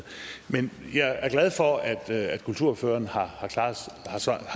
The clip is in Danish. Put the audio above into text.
men jeg er glad for at at kulturordføreren har